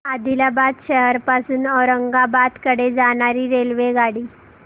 आदिलाबाद शहर पासून औरंगाबाद कडे जाणारी रेल्वेगाडी